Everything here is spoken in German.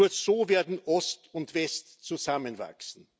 Nur so werden Ost und West zusammenwachsen.